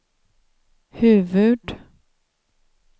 huvud-